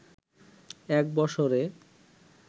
এক বছরে